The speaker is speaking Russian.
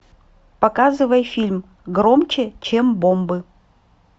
показывай фильм громче чем бомбы